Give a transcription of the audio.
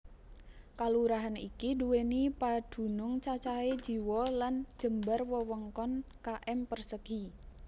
Kalurahan iki nduwèni padunung cacahé jiwa lan jembar wewengkon km persegi